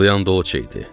Ulayan da o itdi.